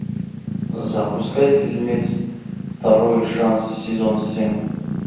запускай фильмец второй шанс сезон семь